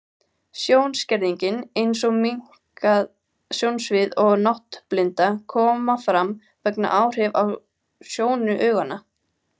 Sjónskerðing, eins og minnkað sjónsvið og náttblinda, koma fram vegna áhrifa á sjónu augnanna.